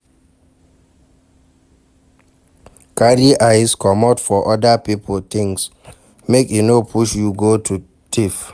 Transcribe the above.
Carry eyes comot for oda pipo things make e no push you to go thief